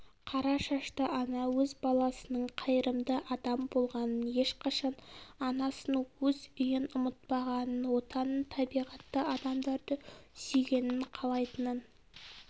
қара шашты ана өз баласының қайырымды адам болғанын ешқашан анасын өз үйін ұмытпағанын отанын табиғатты адамдарды сүйгенін қалайтынын